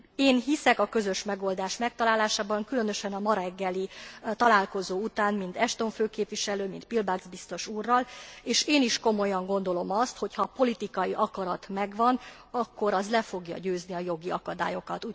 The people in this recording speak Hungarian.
Én hiszek a közös megoldás megtalálásában, különösen a ma reggeli találkozó után, mind Ashton főképviselő, mint Piebalgs biztos úrral, és én is komolyan gondolom azt, hogy ha a politikai akarat megvan, akkor az le fogja győzni a jogi akadályokat.